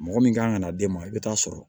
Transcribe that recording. Mɔgɔ min kan ka na d'e ma i bɛ taa sɔrɔ